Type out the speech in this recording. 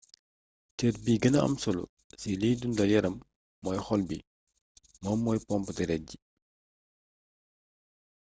cër bi gëna am solo ci liy dundal yaram mooy xol bi moom mmoy pompe deret ji